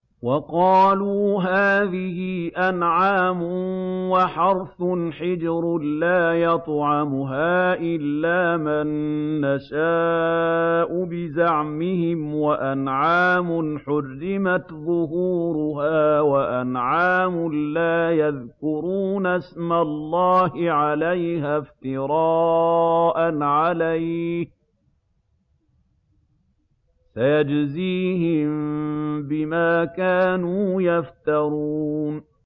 وَقَالُوا هَٰذِهِ أَنْعَامٌ وَحَرْثٌ حِجْرٌ لَّا يَطْعَمُهَا إِلَّا مَن نَّشَاءُ بِزَعْمِهِمْ وَأَنْعَامٌ حُرِّمَتْ ظُهُورُهَا وَأَنْعَامٌ لَّا يَذْكُرُونَ اسْمَ اللَّهِ عَلَيْهَا افْتِرَاءً عَلَيْهِ ۚ سَيَجْزِيهِم بِمَا كَانُوا يَفْتَرُونَ